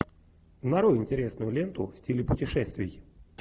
нарой интересную ленту в стиле путешествий